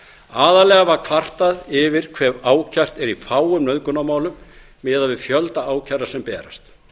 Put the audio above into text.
aðallega var kvartað yfir hve ákært er í fáum nauðgunarmálum miðað við fjölda kæra sem berast